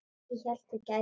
Ég hélt þú gætir allt.